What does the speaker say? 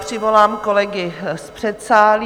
Přivolám kolegy z předsálí.